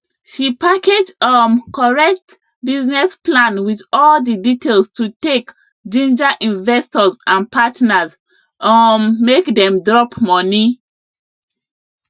she package um correct business plan with all the details to take ginger investors and partners um make dem drop money